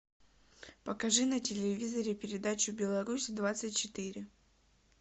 покажи на телевизоре передачу беларусь двадцать четыре